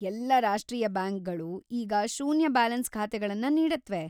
ಎಲ್ಲಾ ರಾಷ್ಟ್ರೀಯ ಬ್ಯಾಂಕುಗಳೂ ಈಗ ಶೂನ್ಯ ಬ್ಯಾಲೆನ್ಸ್ ಖಾತೆಗಳನ್ನು ನೀಡತ್ವೆ.